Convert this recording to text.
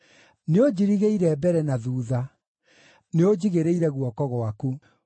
Nĩũnjirigĩire mbere na thuutha; nĩũnjigĩrĩire guoko gwaku.